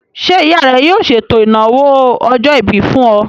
Ṣé ìyá rẹ yóò ṣètò ìnáwó ọjọ́-ìbí fún ọ?